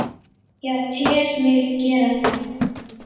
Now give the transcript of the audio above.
Já, tel mig gera það.